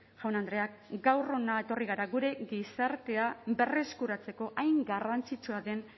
jaun andreak gaur hona etorri gara gure gizartea berreskuratzeko hain garrantzitsua den